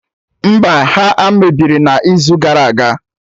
Mba, ha a mebiri n'izu gara aga